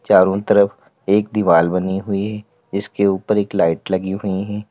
चारों तरफ एक दीवार बनी हुई इसके ऊपर एक लाइट लगी हुई हैं।